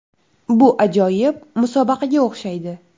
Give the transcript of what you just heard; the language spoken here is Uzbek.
Bu ajoyib musobaqaga o‘xshaydi.